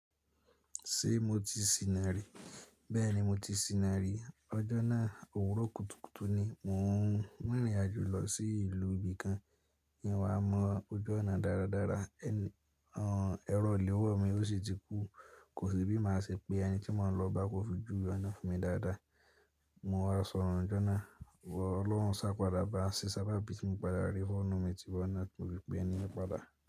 Ṣé mo ti sìnà rí? Bẹ́ẹ̀ni mo ti sìnà rí. Ọjọ́ náà òwúrọ̀ kùtùkùtù ni mò ń rìnrìn àjò lọ sí ìlú ibìkan n wá mọ ojú ọ̀nà dáradára. Ẹ̀rọ ìléwọ́ mi ósì ti kú. Kò sí bí mo ṣe pè ẹni tí mò ń lọ bá kó fi juwe onà fún mi dáadáa. Mo wá sọnun ní ọjọ́ náà, ọlọ́run sá padà bá ń ṣe sábàbí ti mo padà rí fóònù mi tí bọ́na tímo fii pé eni owun pada.